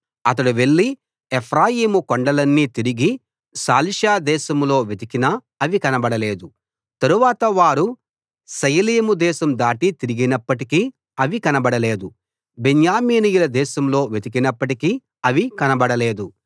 అతడు వెళ్ళి ఎఫ్రాయిము కొండలన్నీ తిరిగి షాలిషా దేశంలో వెతికినా అవి కనబడలేదు తరువాత వారు షయలీము దేశం దాటి తిరిగినప్పటికీ అవి కనబడలేదు బెన్యామీనీయుల దేశంలో వెతికినప్పటికీ అవి కనబడలేదు